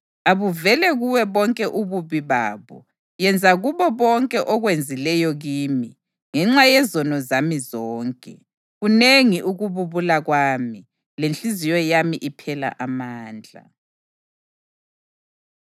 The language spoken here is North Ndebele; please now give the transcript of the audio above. Abuvele kuwe bonke ububi babo; yenza kubo konke okwenzileyo kimi ngenxa yezono zami zonke. Kunengi ukububula kwami, lenhliziyo yami iphela amandla.”